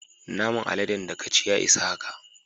Naman aladen da ka ci, ya isa haka.